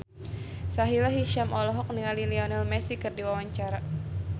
Sahila Hisyam olohok ningali Lionel Messi keur diwawancara